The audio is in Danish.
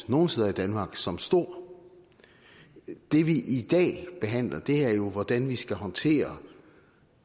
nogle steder i danmark som stor det vi i dag behandler er jo hvordan vi skal håndtere